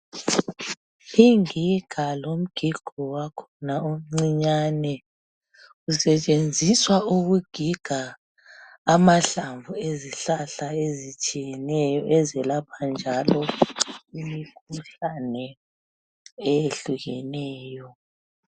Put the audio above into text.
Ingiga lomgigo wakhona omcinyani usetshenziswa ukugiga amahlavu ezithelo ezitshiyeneyo ezilapha njalo imikhuhlane eyehlukeneyo.